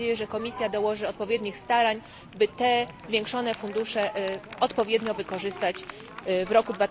Mam nadzieję, że Komisja dołoży odpowiednich starań, by te zwiększone fundusze odpowiednio wykorzystać w roku